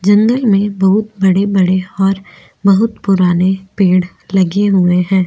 जंगल में बहुत बड़े बड़े और बहुत पुराने पेड़ लगे हुए है।